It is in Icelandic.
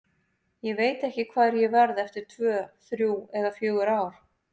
Ég veit ekki hvar ég verð eftir tvö, þrjú eða fjögur ár.